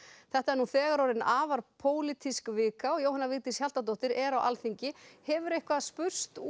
þetta er nú þegar orðin afar pólitísk vika og Jóhanna Vigdís Hjaltadóttir er á Alþingi hefur eitthvað spurst út